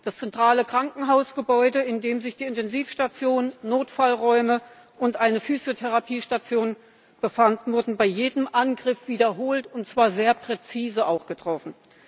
Das zentrale Krankenhausgebäude, in dem sich die Intensivstation, Notfallräume und eine Physiotherapiestation befanden, wurde bei jedem Angriff wiederholt, und zwar sehr präzise, getroffen.